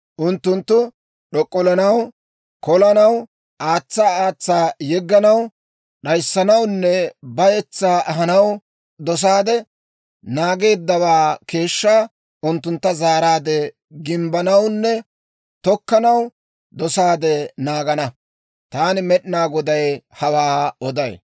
Unttunttu d'ok'ollanaw, kolanaw, aatsa aatsa yegganaw, d'ayissanawunne bayetsaa ahanaw dosaade naageeddawaa keeshshaa, unttuntta zaaraadde gimbbanawunne tokkanaw dosaade naagana. Taani Med'inaa Goday hawaa oday.